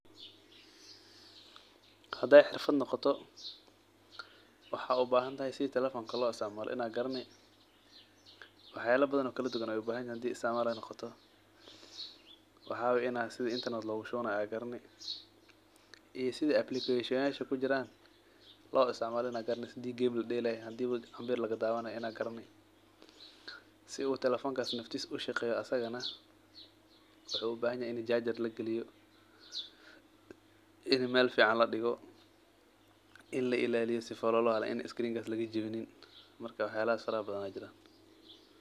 Haday xirfad noqoto waxad uibahantahay sidi telefonka lo isticmalo in aa garani , waxyala badhan oo kala duwan aa lobahanyahay, waxay way sida internet lohushubanay ad garani iyo sida application-yasha kujiran lo isticmalo ad garani, sida game lodelay, hadi ambir lagadawanay in ad garani . Si u telefonka naftis ushaqeyo asagana wuxu ubahanyahay in jajar lagaliyo in mel fican ladigo in lailaliyo si uu screen-ka ugajawin waxyalahas fara badhan aa jiran.